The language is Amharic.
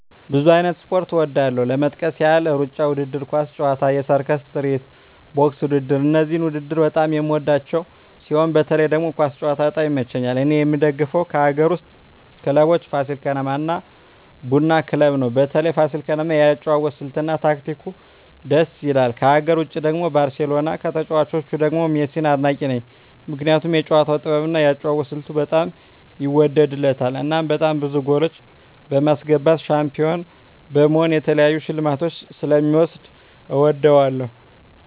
ብዙ አይነት ስፖርት እወዳለሁ ለመጥቀስ ያህል እሩጫ ውድድር፣ ኳስ ጨዋታ፣ የሰርከስ ትርኢት፣ ቦክስ ውድድር እነዚህን ውድድር በጣም የምወዳቸው ሲሆን በተለይ ደግሞ ኳስ ጨዋታ በጣም ይመቸኛል እኔ የምደግፈው ከአገር ውስጥ ክለቦች ፋሲል ከነማ እና ቡና ክለብ ነው በተለይ ፋሲል ከነማ የአጨዋወት ስልት እና ታክቲኩ ድስ ይላል ከሀገር ውጭ ደግሞ ባርሴሎና ከተጫዋቾቹ ደግሞ ሜሲን አድናቂ ነኝ ምክንያቱም የጨዋታው ጥበብ እና የአጨዋወት ስልቱ በጣም ይወደድለታል እናም በጣም ብዙ ጎሎች በማስገባት ሻንፒሆን በመሆን የተለያዩ ሽልማቶችን ስለ ሚወስድ እወደዋለሁ።